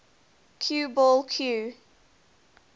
cue ball cue